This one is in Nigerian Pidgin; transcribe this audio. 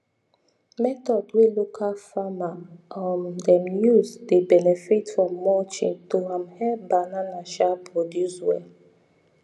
method way local farmer um them used dey benefit from mulching to um help banana um produce well